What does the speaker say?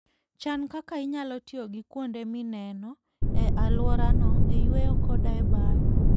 Chan kaka inyalo tiyo gi kuonde mineno e alworano e yueyo koda e bayo.